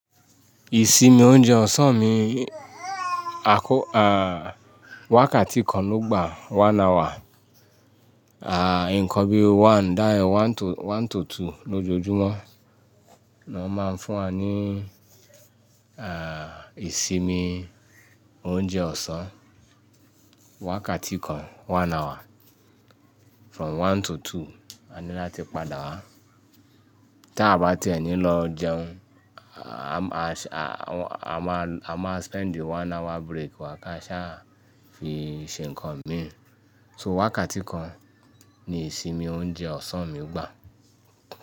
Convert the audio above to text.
Ìsinmi oúnjẹ ọ̀sán mi, à á, wákàtí kan ló gbà one hour. À, ǹkan bí one, dááyà one to one tòtò lójoojúmọ́ ni wọ́n máa ń fún wa ní, à, ìsinmi oúnjẹ ọ̀sán. Wákàtí kan one hour from one to two, a ní láti padà wá. Tí a bá ti ẹ̀ ní lọ jẹun, à, a máa a máa spend the one hour break wá ká ṣáá fi ṣe ǹkan mi. So wákàtí kan ni ìsinmi oúnjẹ ọ̀sán mi gbà.